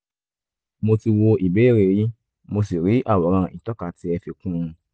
mo ti wo ìbéèrè yín mo sì rí àwòrán ìtọ́ka tí ẹ fi kún un